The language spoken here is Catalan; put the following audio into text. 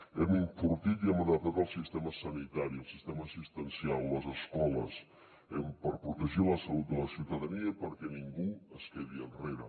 hem enfortit i hem adaptat el sistema sanitari el sistema assistencial les escoles per protegir la salut de la ciutadania i perquè ningú es quedi enrere